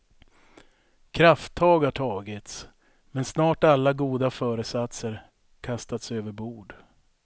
Krafttag har tagits, men snart alla goda föresatser kastats överbord.